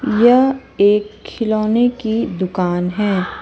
यह एक खिलौने की दुकान है।